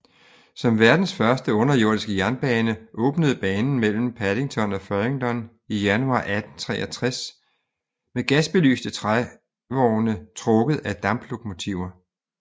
Som verdenens første underjordiske jernbane åbnede banen mellem Paddington og Farringdon i januar 1863 med gasbelyste trævogne trukket af damplokomotiver